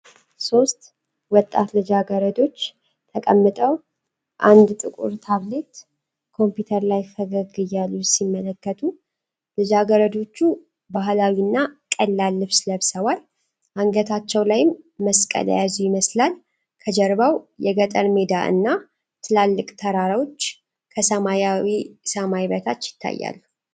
ሦስት ወጣት ልጃገረዶች ተቀምጠው አንድ ጥቁር ታብሌት ኮምፒውተር ላይ ፈገግ እያሉ ሲመለከቱ። ልጃገረዶቹ ባህላዊ እና ቀላል ልብስ ለብሰዋል፤ አንገታቸው ላይም መስቀል የያዙ ይመስላል። ከጀርባው የገጠር ሜዳ እና ትላልቅ ተራሮች ከሰማያዊ ሰማይ በታች ይታያሉ።